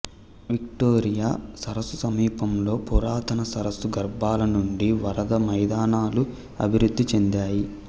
Victoria సరస్సు సమీపంలో పురాతన సరస్సు గర్భాల నుండి వరద మైదానాలు అభివృద్ధి చెందాయి